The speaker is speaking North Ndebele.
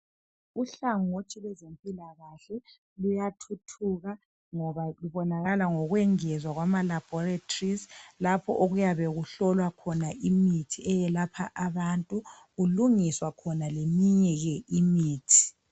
Uhlangothi lwezempilakahle luyathuthuka ngoba lubonakala ngokungezwa kwamalaboratories lapho okuyabe kuhlolwa khona imithi eyelapha abantu kulungiswa ke leminye imithi.